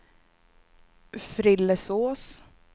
Frillesås